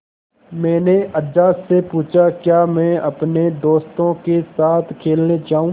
मैंने अज्जा से पूछा क्या मैं अपने दोस्तों के साथ खेलने जाऊँ